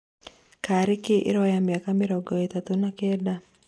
Karĩ kĩ ĩroya mĩaka mĩrongo ĩtatu na Kenda?